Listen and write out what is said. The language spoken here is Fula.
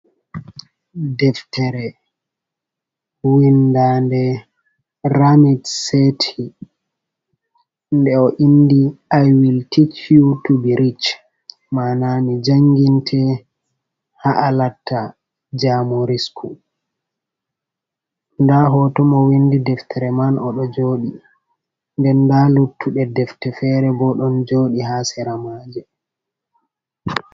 Ɗeftere winɗanɗe ramiɗ seti. Ɗe ɗo winɗi aiwil tic yu bi rich. Maana mi janginte ha alatta jamu risku. Ɗa hoto mo winɗi deftere man oɗo joɗi. nɗen ɗa luttude ɗefte fere bo ɗon joɗi ha seramaje.